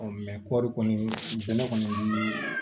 kɔɔri kɔni bɛn kɔni